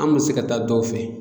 An bɛ se ka taa dɔw fɛ